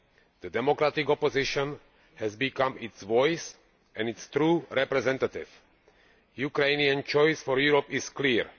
The democratic opposition has become its voice and its true representative. The Ukrainian choice for Europe is clear.